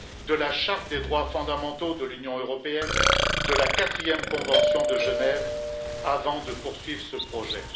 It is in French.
de la charte des droits fondamentaux de l'Union européenne et de la quatrième Convention de Genève, avant de poursuivre ce projet.